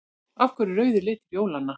Af hverju er rauður litur jólanna?